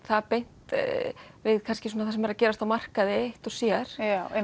það beint við kannski það sem er að gerast á markaði eitt og sér